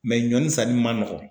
Mɛ ɲɔnisa ni ma nɔgɔn.